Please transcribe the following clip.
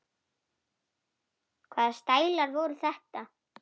Hvaða stælar voru þetta?